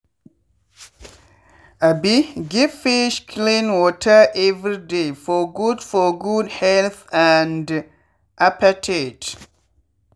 um give fish clean water every day for good for good health and appetite.